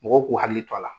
Mɔgɔw k'u hakili to a la